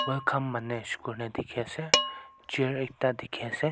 welcome Manish koile dekhi ase chair ekta dekhi ase.